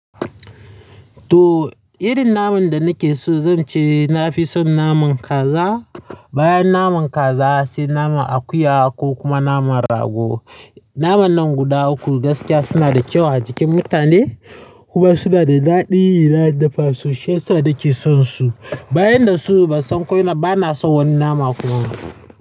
To, irin naman da nake so zan ce na fi son naman kaza. Bayan naman kaza, sai naman akuya ko kuma naman rago. Naman nan guda uku gaskiya suna da kyau a jikin mutane kuma suna da daɗi. Na dafa su, shiyasa nake son su. Bayan da su ba san ko ina, ba na son wani nama kuma.